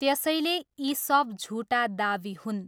त्यसैले यी सब झुटा दावी हुन्।